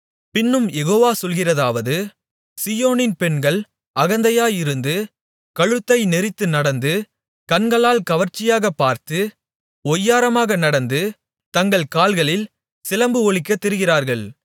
பின்னும் யெகோவா சொல்கிறதாவது சீயோனின் பெண்கள் அகந்தையாயிருந்து கழுத்தை நெறித்து நடந்து கண்களால் கவர்ச்சியாகப்பார்த்து ஒய்யாரமாக நடந்து தங்கள் கால்களில் சிலம்பு ஒலிக்கத் திரிகிறார்கள்